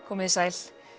komið þið sæl